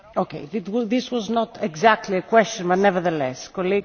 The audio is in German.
Ich kann die Antwort sehr kurz machen Natürlich stimme ich damit überein.